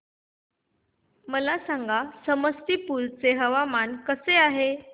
मला सांगा समस्तीपुर चे हवामान कसे आहे